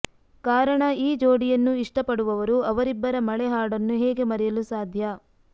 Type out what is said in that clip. ಕಾರಣ ಈ ಜೋಡಿಯನ್ನು ಇಷ್ಟಪಡುವವರು ಅವರಿಬ್ಬರ ಮಳೆ ಹಾಡನ್ನು ಹೇಗೆ ಮರೆಯಲು ಸಾಧ್ಯ